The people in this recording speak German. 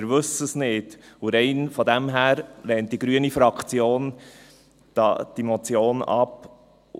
– Wir wissen es nicht, und rein daher lehnt die grüne Fraktion diese Motion ab.